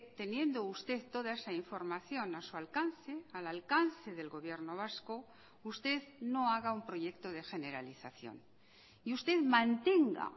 teniendo usted toda esa información a su alcance al alcance del gobierno vasco usted no haga un proyecto de generalización y usted mantenga